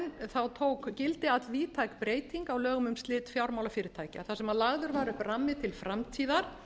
síðastliðinn tók gildi allvíðtæk breyting á lögum um slit fjármálafyrirtækja þar sem lagður var upp rammi til framtíðar